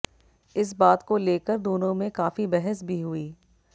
इस बात को लेकर दोनों में काफी बहस भी हुई